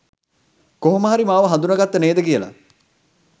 කොහොම හරි මාව හඳුන ගත්තා නේද කියලා.